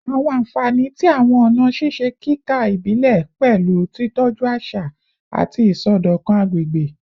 Awọn anfani ti awọn ọna ṣiṣe kika ibile pẹlu titọju aṣa ati isọdọkan agbegbe